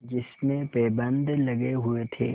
जिसमें पैबंद लगे हुए थे